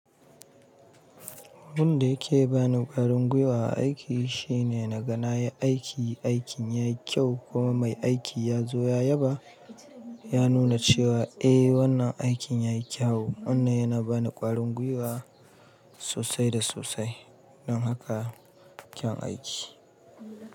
Abin da yake ba ni ƙwarin gwiwa a aiki shine na ga na yi aiki, aikin ya yi kyau kuma mai aiki ya zo ya yaba, ya nuna cewa eh wannan aikin ya yi kyawu. Wannan yana ba ni ƙwarin gwiwa sosai da sosai don haka kyan aiki.